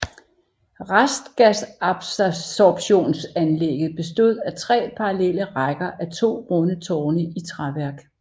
Restgasabsorbtionsanleægget bestod af tre parallelle rækker á to runde tårne i træværk